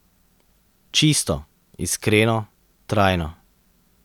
Čisto, iskreno, trajno.